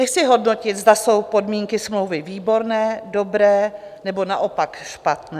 Nechci hodnotit, zda jsou podmínky smlouvy výborné, dobré, nebo naopak špatné.